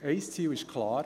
Ein Ziel ist klar: